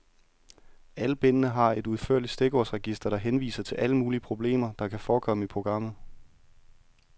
Alle bindene har et udførligt stikordsregister, der henviser til alle mulige problemer, der kan forekomme i programmet.